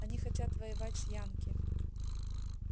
они хотят воевать с янки